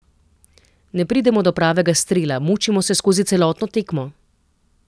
Ne pridemo do pravega strela, mučimo se skozi celotno tekmo.